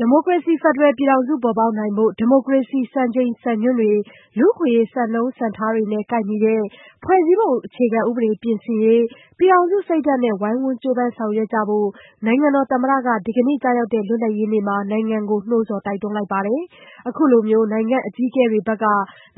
ဒီမိုကရေစီ ဖက်ဒရယ်ပြည်ထောင်စု ပေါ်ပေါက်နိုင်ဖို့ ဒီမိုကရေစီ စံချိန်စံညွှန်းတွေ လူ့အခွင့်အရေး စံနှုန်းစံထားတွေနဲ့ ကိုက်ညီတဲ့ ဖွဲ့စည်းပုံအခြေခံဥပဒေ ပြင်ဆင်ရေး ပြည်ထောင်စုစိတ်ဓာတ်နဲ့ ဝိုင်းဝန်းကြိုးပမ်း ဆောင်ရွက်ကြဖို့ နိုင်ငံတော်သမ္မတက ဒီကနေ့ကျရောက်တဲ့ လွတ်လပ်ရေးနေ့မှာ နိုင်ငံကို နှိုးဆော် တိုက်တွန်းလိုက်ပါတယ်။ အခုလို နိုင်ငံ့အကြီးအကဲတွေဘက်က